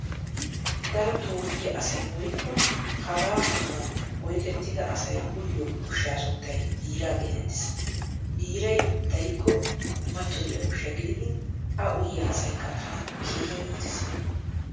Daro toophphiyaa asay woykko haga maatuwan oyqqettida asay uyiyo ushsha sunttay biiraa geetettees. Biiraay dariko matoyiya ushsha gididi a uyiya asaykka tana keehin iittees.